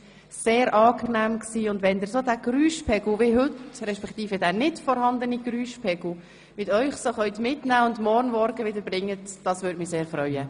Es war sehr angenehm, und wenn Sie diesen Geräuschpegel – respektive den nicht vorhandenen Geräuschpegel – so mitnehmen und morgen früh wieder mitbringen könnten, würde mich das sehr freuen.